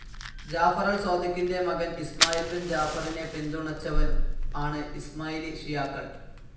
Jafar al സാദിഖിൻ്റെ മകൻ Ismail bin ജാഫറിനെ പിന്തുണച്ചവർ ആണ് ഇസ്മൈലി ഷിയാക്കൽ.